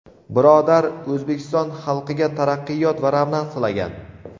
birodar O‘zbekiston xalqiga taraqqiyot va ravnaq tilagan.